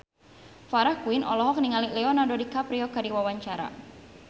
Farah Quinn olohok ningali Leonardo DiCaprio keur diwawancara